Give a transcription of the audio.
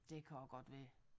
Det kan også godt være